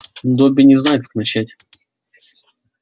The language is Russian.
добби не знает как начать